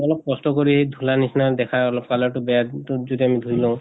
অলপ কষ্ট কৰি অলপ ধুলা নিছিনা দেখা অলপ color টো বেয়া যদি আমি ধুই লওঁ